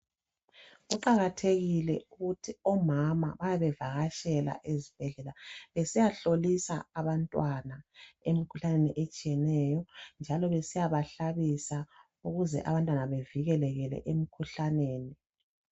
Kuqakathekile ukuthi omama babevakatshela ezibhedlela bediyahlolisa abantwana umkhuhlaneni etshiyeneyo njalo besiyabahlabisa ukuze abantwana bavikeleke emikhuhlaneni .